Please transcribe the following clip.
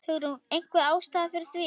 Hugrún: Einhver ástæða fyrir því?